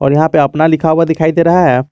और यहां पे अपना लिखा हुआ दिखाई दे रहा है।